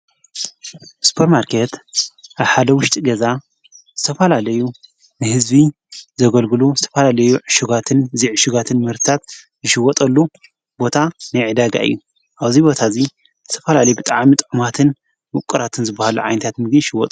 ስጶር ማርከት ኣብሓደ ውሽጢ ገዛ ዝተፋላለዩ ንሕዝቢ ዘገልግሉ ዝተፋላለዩ ዕሹጓትን ዚዕሹጋትን ምህርታት ዝሽወጠሉ ቦታ ነይዕዳጋ እዩ ኣውዚይ ቦታ እዙይ ተፋላለይ ብጥዓሚ ጥዑማትን ውቑራትን ዝበሃሉ ዓይንታት ምጊ ይሽወጦ::